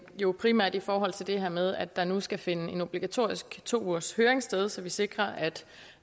jo primært i forhold til det her med at der nu skal finde en obligatorisk to ugershøring sted så vi sikrer